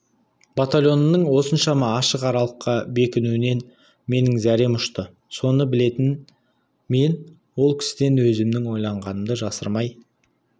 батальонымның осыншама ашық аралыққа бекінуінен менің зәрем ұшты соны білетін мен ол кісіден өзімнің ойлағанымды жасырмай